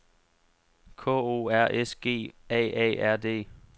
K O R S G A A R D